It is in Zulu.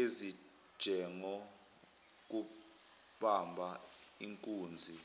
ezinjengokubamba inkunzi